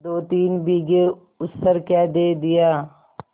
दोतीन बीघे ऊसर क्या दे दिया